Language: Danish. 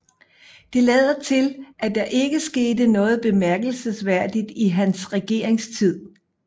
Det lader til at der ikke skete noget bemærkelsesværdigt i hans regeringstid